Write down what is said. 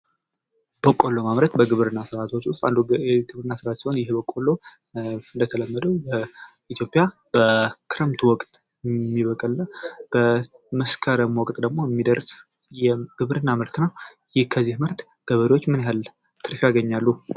በቆሎ ማምረት በግብርና ስርዓቶች ውስጥ አንዱ ሲሆን እንደተለመደው በኢትዮጵያ ክረምቱ የሚበቅልናል በመስከረም ወቅት ደግሞ የሚደርስ የግብርና ምርትነ ነው። ከዚህ የግብርና ምርት ምን ያህል ትርፍ ያገኛሉ?